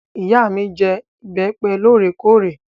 Ìyá mi jẹ ìbẹ́pẹ́ lóòrèkóòrè.